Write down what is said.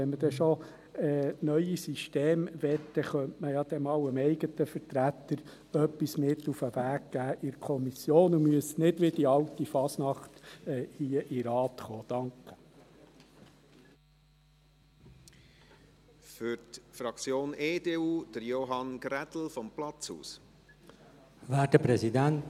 Wenn man schon neue Systeme möchte, könnte man dem eigenen Vertreter etwas mit auf den Weg in die Kommission geben, und dann müssten Sie nicht wie die alte Fasnacht hier in den Rat kommen.